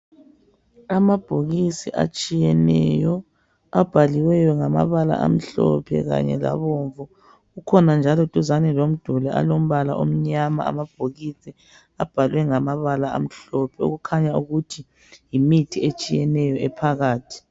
Amabhokisi atshiyeneyo, abhaliweyo ngamabala amhlophe kanye labomvu. Kukhona njalo duzane lomduli alombala omnyama amabhokisi, abhalwe ngamabala amhlophe, okukhanya ukuthi yimithi etshiyeneyo ephakathi.